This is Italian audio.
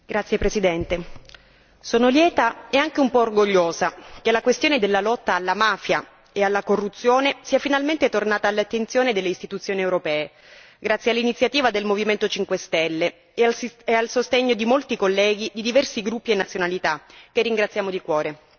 Signora Presidente, onorevoli colleghi, sono lieta e anche un po' orgogliosa che la questione della lotta alla mafia e alla corruzione sia finalmente tornata all'attenzione delle istituzioni europee. Grazie all'iniziativa del Movimento 5 Stelle e al sostegno di molti colleghi di diversi gruppi e nazionalità, che ringraziamo di cuore.